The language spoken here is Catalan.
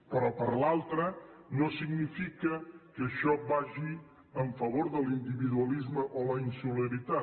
però per l’altra no és cert que això vagi en favor de l’individualisme o la insolidaritat